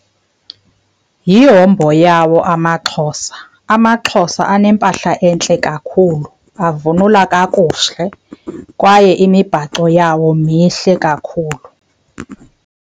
Yihombo yawo amaXhosa. AmaXhosa anempahla entle kakhulu, avunula kakuhle kwaye imibhaco yawo mihle kakhulu.